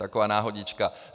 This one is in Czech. Taková náhodička.